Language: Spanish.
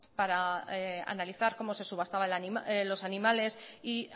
para analizar cómo se subastaban los animales y